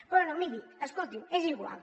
bé miri escolti és igual